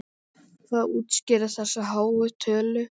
Hvað útskýrir þessa háu tölu?